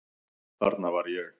Þarna var ég.